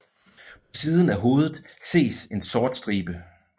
På siden af hovedet ses en sort stribe